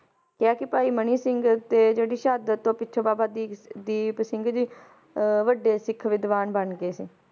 ਕਿਹਾ ਕਿ ਭਾਈ ਮਨੀ ਸਿੰਘ ਤੇ ਜਿਹੜੀ ਸ਼ਹਾਦਤ ਤੋਂ ਪਿੱਛੋਂ ਬਾਬਾ ਦੀਪ~ ਦੀਪ ਸਿੰਘ ਜੀ ਅਹ ਵੱਡੇ ਸਿੱਖ ਵਿਦਵਾਨ ਬਣ ਗਏ ਸੀ